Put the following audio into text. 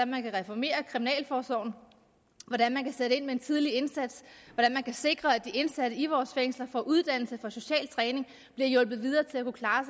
man kan reformere kriminalforsorgen hvordan man kan sætte ind med en tidlig indsats hvordan man kan sikre at de indsatte i vores fængsler får uddannelse får social træning og bliver hjulpet videre til at kunne klare